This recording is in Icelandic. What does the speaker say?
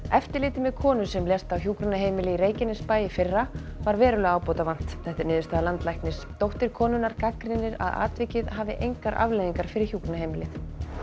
eftirliti með konu sem lést á hjúkrunarheimili í Reykjanesbæ í fyrra var verulega ábótavant þetta er niðurstaða landlæknis dóttir konunnar gagnrýnir að atvikið hafi engar afleiðingar fyrir hjúkrunarheimilið